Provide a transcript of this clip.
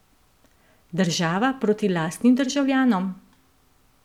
Država proti lastnim državljanom?